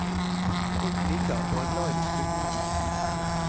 Folk liker og er glad i disse bygningene.